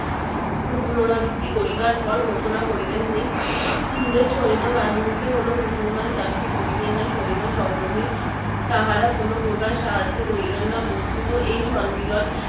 পুনরাবৃত্তি করিবার পর ঘোষণা করিলেন যে ইংরেজ সৈন্যবাহিনীতে কোনো মুসলমান চাকরি করিবে না সৈন্য সংগ্রহে তাহারা কোনো প্রকার সাহায্য করিবেন না বস্তুত এই সম্মেলন